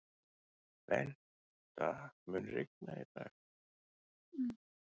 Bengta, mun rigna í dag?